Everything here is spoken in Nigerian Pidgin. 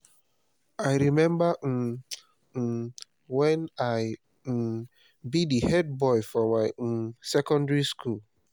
i rememba um um wen i um be di head boy for my um secondary school